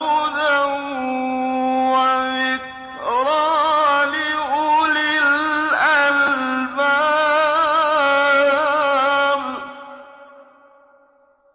هُدًى وَذِكْرَىٰ لِأُولِي الْأَلْبَابِ